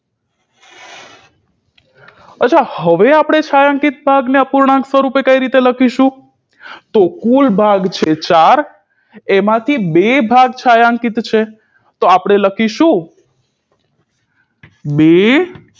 અછાં હવે આપણે છાંયાંકીત ભાગને અપૂર્ણાંક સ્વરુપે કઈ રીતે લખીશું તો કુલ ભાગ છે ચાર એમાંથી બે ભાગ છાંયાંકીત છે તો આપણે લખીશું બે